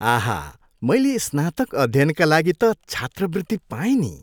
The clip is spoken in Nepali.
आहा, मैले स्नातक अध्ययनका लागि त छात्रवृत्ति पाएँ नि।